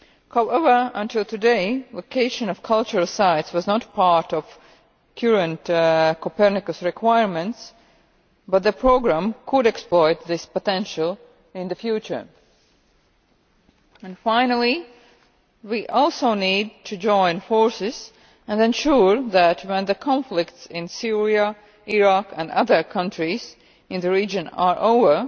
However, until today the location of cultural sites has not been part of current Copernicus requirements, but the programme could exploit this potential in the future. Finally, we also need to join forces and ensure that, when the conflicts in Syria, Iraq and other countries in the region are over,